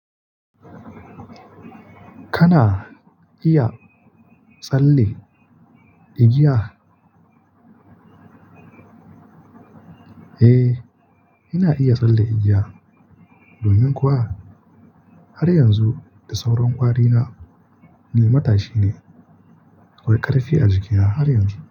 Kana iya tsalle igiya? Eh ina iya tsalle igiya domin kuwa har yanzu da sauran kwari na ni matashi ne akwai karfi a jiki na har yanzu.